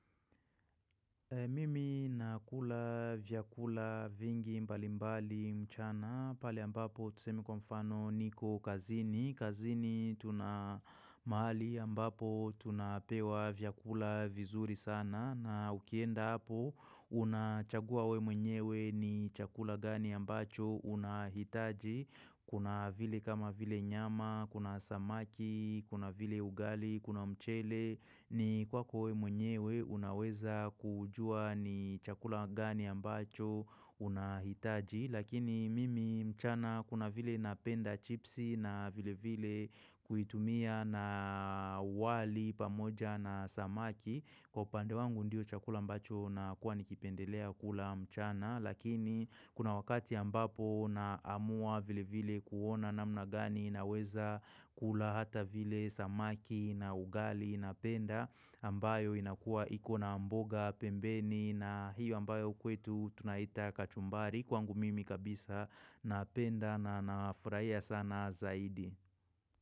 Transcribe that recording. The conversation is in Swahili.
Mimi nakula vyakula vingi mbalimbali mchana pale ambapo tuseme kwa mfano niko kazini. Kazini tuna mahali ambapo tunapewa vyakula vizuri sana na ukienda hapo unachagua wewe mwenyewe ni chakula gani ambacho unahitaji. Kuna vile kama vile nyama, kuna samaki, kuna vile ugali, kuna mchele, ni kwako wewe mwenyewe unaweza kujua ni chakula gani ambacho unahitaji. Lakini mimi mchana kuna vile napenda chipsi na vile vile kuitumia na wali pamoja na samaki. Kwa upande wangu ndiyo chakula ambacho nakuwa nikipendelea kula mchana lakini kuna wakati ambapo na amua vile vile kuona namna gani naweza kula hata vile samaki na ugali napenda ambayo inakua ikona mboga pembeni na hiyo ambayo kwetu tunaita kachumbari kwangu mimi kabisa napenda na nafurahia sana zaidi.